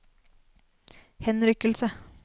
henrykkelse